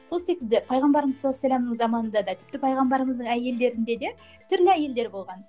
сол секілді пайғамбарымыз заманында да тіпті пайғамбарымыздың әйелдерінде де түрлі әйелдер болған